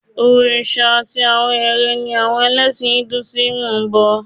Òrìṣà àti àwọn eré ni àwọn ẹlẹ́sìn Induísímù ń bọ